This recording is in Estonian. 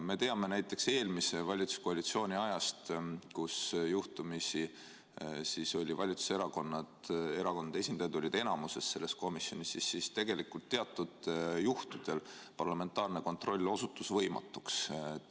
Me teame näiteks eelmise valitsuskoalitsiooni ajast, kui juhtumisi valitsuserakondade esindajad olid selles komisjonis enamuses, et siis tegelikult teatud juhtudel parlamentaarne kontroll osutus võimatuks.